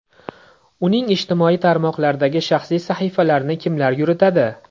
Uning ijtimoiy tarmoqlardagi shaxsiy sahifalarini kimlar yuritadi?